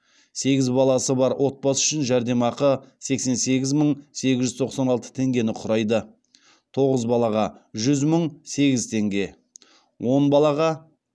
сегіз баласы бар отбасы үшін жәрдемақы сексен сегіз мың сегіз жүз тоқсан алты теңгені құрайды тоғыз балаға жүз мың сегіз теңге он балаға